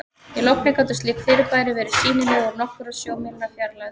í logni gátu slík fyrirbæri verið sýnileg úr nokkurra sjómílna fjarlægð